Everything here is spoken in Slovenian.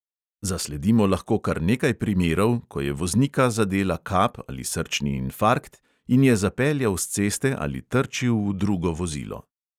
Zasledimo lahko kar nekaj primerov, ko je voznika zadela kap ali srčni infarkt in je zapeljal s ceste ali trčil v drugo vozilo.